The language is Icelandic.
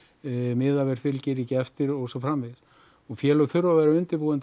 miðaverð fylgir því ekki eftir og svo framvegis og félög þurfa að vera undirbúin